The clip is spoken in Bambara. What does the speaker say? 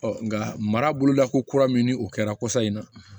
nka mara boloda ko kura min ni o kɛra kɔsa in na